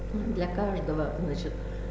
для каждого значит